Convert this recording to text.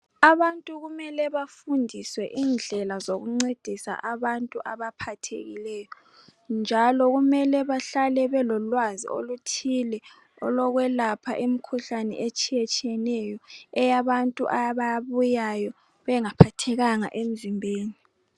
Abantu kumele bafundiswe indlela zokuncedisa abantu abaphathekileyo njalo kumele bahlale belolwazi oluthile olokwelapha imikhuhlane etshiye tshiyeneyo eyabantu ababuyayo bengaphathekanga emzimbeni.